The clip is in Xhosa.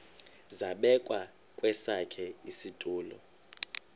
zabekwa kwesakhe isitulo